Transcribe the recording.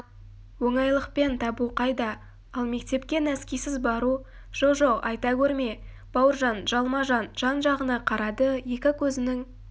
оңайлықпен табу қайда ал мектепке нәскисіз бару жо-жоқ айта көрме бауыржан жалма-жан жан-жағына қарады екі көзінің